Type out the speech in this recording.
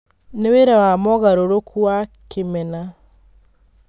Nĩ wĩra wa mogarũrũku wa Kĩmena.